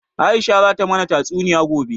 Aisha zata mana tatsuniya gobe